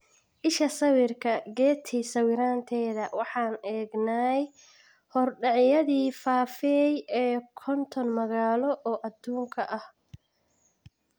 Isha sawirka, Getty sawiranteda "Waxaan eegnay horudhacyadii [fafeey] ee konton magaalo oo adduunka ah.